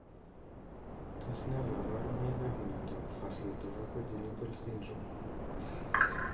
Tos ne kaborunoikap miondop Facio thoraco genital syndrome?